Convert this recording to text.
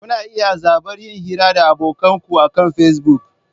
Kuna iya zaɓar yin hira da abokan ku akan Facebook.